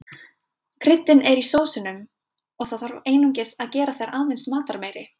Kryddin eru í sósunum og það þarf einungis að gera þær aðeins matarmeiri.